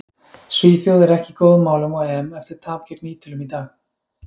Svíþjóð er ekki í góðum málum á EM eftir tap gegn Ítölum í dag.